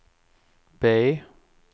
B